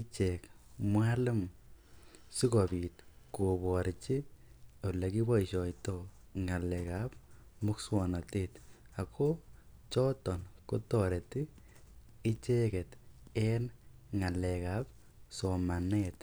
ichek mwalimu sikobit koborji ole kiboisioito ngalekab muswokanatet ago chot kotoreti icheget en ngalekab somanet.